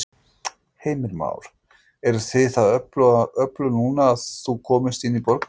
Heimir Már: Eruð þið það öflug núna að þú komist inn í borgarstjórn?